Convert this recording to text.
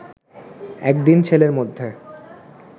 একদিন ছেলের মধ্যে